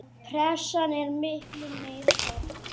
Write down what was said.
Pressan er miklu meiri hérna.